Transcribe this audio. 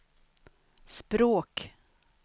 språk